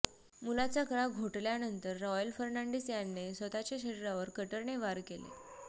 मुलाचा गळा घोटळ्यानंतर रॉयल फर्नांडिस यांने स्वतःच्या शरीरावर कटरने वार केले